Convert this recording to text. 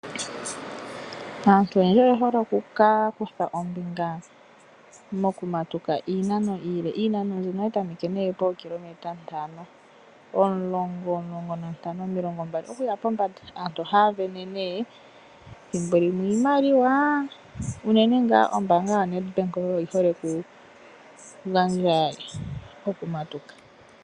Aantu oyendji oye hole okukutha ombinga mokumatuka iinano iile. iinano iile ohayi tameke nduno pookilometa ntano, omulongo, omulongo nantano, omilongombali okuya pombanda. Aantu ohaya sindana nduno thimbo limwe iimaliwa, unene ngaa ombaanga yoNedbank oyo yi hole okugandja pokumatuka.